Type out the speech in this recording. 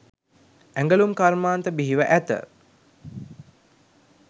ඇඟලුම් කර්මාන්ත බිහිව ඇත